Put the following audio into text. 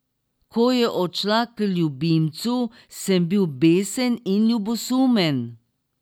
Ko je odšla k ljubimcu, sem bil besen in ljubosumen.